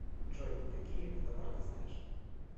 джой какие адалар ты знаешь